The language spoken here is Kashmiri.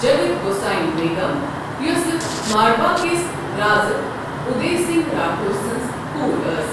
جَگت گوساییٖن بیگم، یۄسہٕ مارواڈ کِس رازٕ اُدَے سِنٛگھ راٹھور سٕنٛز کوٗر ٲس۔